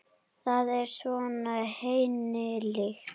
Það er svona henni líkt.